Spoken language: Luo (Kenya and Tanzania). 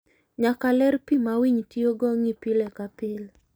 Nyaka ler pi ma winy tiyogo ng'ii pile ka pile.